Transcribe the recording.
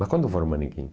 Mas quando foram manequins?